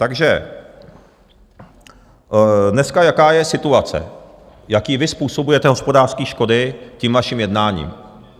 Takže dneska jaká je situace, jaké vy způsobujete hospodářské škody tím vaším jednáním?